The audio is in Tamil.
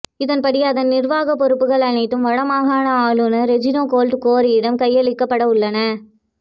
இதன்படி அதன் நிர்வாகப் பொறுப்புகள் அனைத்தும் வடமாகாண ஆளுனர் ரெஜினோல்ட் குரேவிடம் கையளிக்கப்படவுள்ளன